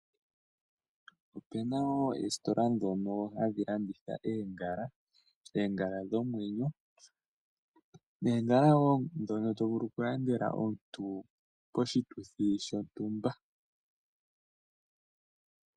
Opuna wo oositola ndhoka hadhi landitha oongala, oongala dhomwenyo noongala wo ndhono to vulu oku landela omuntu poshituthi shontumba.